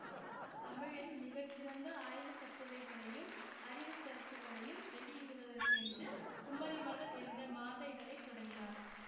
தமிழில் மிக சிறந்த ஆய்வுக்கட்டுரைகளையும் அறிவு கருத்துக்களையும் வெளியிடுவதற்கென்று குமரிமலர் என்ற மாத இதழை தொடங்கினார்